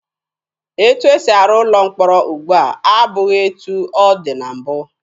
Etu esi arụ ụlọ mkpọrọ ugbua abụghị etu ọ dị na mbụ.